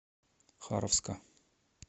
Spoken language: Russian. харовска